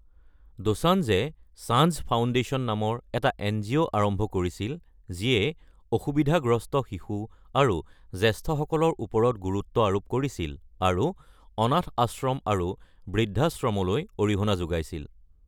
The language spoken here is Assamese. দোসান্জে সানঝ ফাউণ্ডেশ্যন নামৰ এটা এন জি অ’ আৰম্ভ কৰিছিল যিয়ে অসুবিধাগ্ৰস্ত শিশু আৰু জ্যেষ্ঠসকলৰ ওপৰত গুৰুত্ব আৰোপ কৰিছিল, আৰু অনাথ আশ্ৰম আৰু বৃদ্ধাশ্ৰমলৈ অৰিহণা যোগাইছিল।